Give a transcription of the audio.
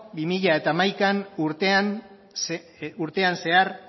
bi mila hamaika urtean zehar